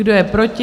Kdo je proti?